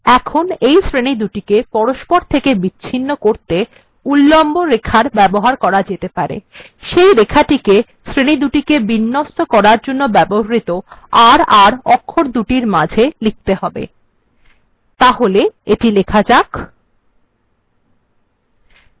এই দুটি শ্রেনীকে পরস্পর থেকে বিচ্ছিন্ন করার জন্য তাদের মাঝে উল্লম্ব রেখার ব্যবহার করা যেতে পারে যা শ্রেণীগুলিকে বিন্যস্ত করার জন্য ব্যবহৃত r r অক্ষরদুটির মাঝে লিখতে হবে তাহলে এটি লেখা যাক